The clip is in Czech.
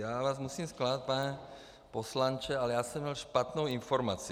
Já vás musím zklamat, pane poslanče, ale já jsem měl špatnou informaci.